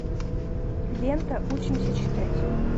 лента учимся читать